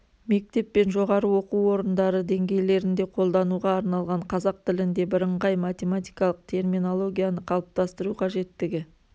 мектеп пен жоғары оқу орындары деңгейлерінде қолдануға арналған қазақ тілінде бірыңғай математикалық терминологияны қалыптастыру қажеттігі